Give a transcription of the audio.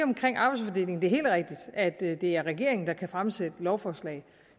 at det er at det er regeringen der kan fremsætte lovforslag